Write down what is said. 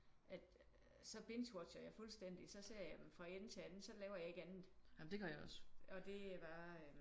At så bingewatcher jeg fuldstænding. Så ser jeg dem fra enden til anden så laver jeg ikke andet og det er bare øh